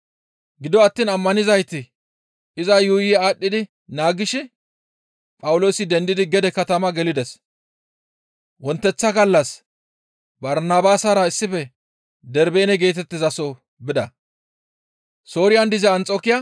Gido attiin ammanizayti iza yuuyi aadhdhi naagishin Phawuloosi dendidi gede katama gelides; wonteththa gallas Barnabaasara issife Darbeene geetettizaso bida.